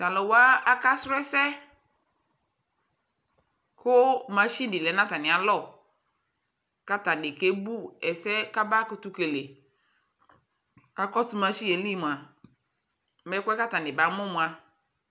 talʋwa akasrɔ ɛsɛ kʋ NA ɖilɛ natanialɔ kake bʋ ɛsɛ kaba kʋtʋkele nakɔsʋ NA limʋa ɛkʋɛ katani bamʋ mʋa